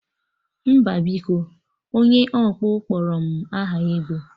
Mba biko, onye ọkpụ kpọrọ m aha ego